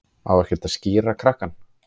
Á ekkert að skíra krakkann?